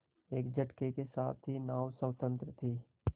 एक झटके के साथ ही नाव स्वतंत्र थी